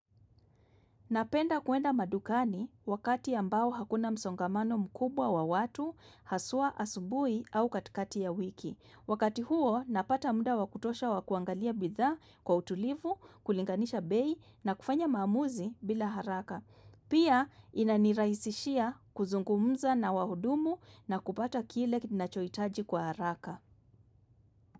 Napenda kuenda madukani wakati ambao hakuna msongamano mkubwa wa watu haswa asubuhi au katikati ya wiki. Wakati huo napata muda wa kutosha wa kuangalia bidhaa kwa utulivu, kulinganisha bei na kufanya maamuzi bila haraka. Pia inanirahisishia kuzungumza na wahudumu na kupata kile ninachohitaji kwa haraka.